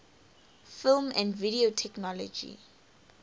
film and video technology